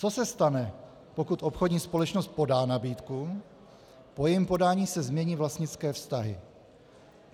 Co se stane, pokud obchodní společnost podá nabídku, po jejím podání se změní vlastnické vztahy?